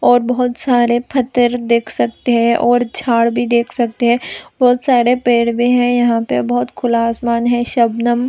और बहुत सारे पत्थर देख सकते हैं और झाड़ भी देख सकते हैं बहुत सारे पेड़ भी हैं यहाँ पे बहुत खुला आसमान हैं सबनम--